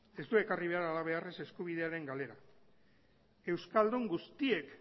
ez du ekarri behar halabeharrez eskubidearen galera euskaldun guztiek